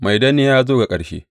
Mai danniya ya zo ga ƙarshe!